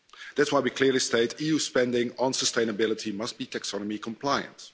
That's why we clearly state EU spending on sustainability must be taxonomy compliant.